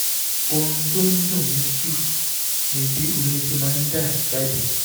ohun tó ń dùn mí jù ni bí omi ṣe máa ń dà jáde